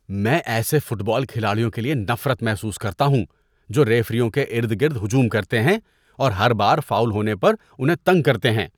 میں ایسے football کھلاڑیوں کے لیے نفرت محسوس کرتا ہوں جو ریفریوں کے ارد گرد ہجوم کرتے ہیں اور ہر بار فاؤل ہونے پر انہیں تنگ کرتے ہیں۔